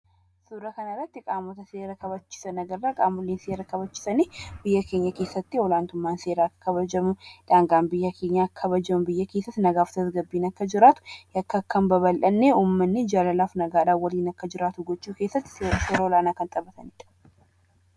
Suura kana irratti qaamota seera kabachiisan agarra. Qaamonni seera kabachiisan biyya keenya keesatti olaantummaan seeraa akka kabajamu, daangaan biyya keenyaa akka kabajamu, biyya keessas nagaa fi tasgabbiin akka jiraatu, yakki akka hin babal'anne, uummanni jaalalaa fi nagaadhaan waliin akka jiraatu gochuu keessatti shoora olaanaa kan taphatanidha.